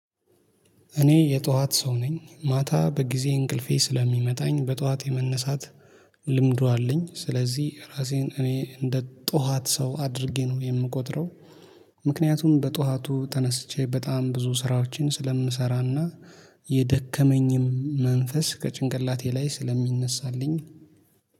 እኔ የጠዋት ሰው ነኝ። ማታ በጊዜ እንቅልፌ ስለሚመጣኝ በጠዋት የመነሳት ልምዱ አለኝ፤ ስለዚህ ራሴን እኔ እንደ ጠዋት ሰው አድርጌ ነው የምቆጥረው። ምክንያቱም በጠዋቱ ተነስቼ በጣም ብዙ ስራዎችን ስለምሰራ እና፣ የደከመኝም መንፈስ ከጭንቀላቴ ላይ ስለሚነሳልኝ